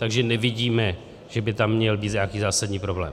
Takže nevidím, že by tam měl být nějaký zásadní problém.